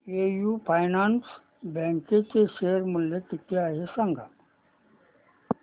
AU finance bank चे share मूल्य किती आहे सांगा